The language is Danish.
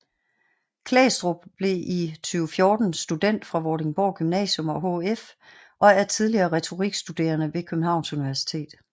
Klæstrup blev i 2014 student fra Vordingborg Gymnasium og HF og er tidligere retorikstuderende ved Københavns Universitet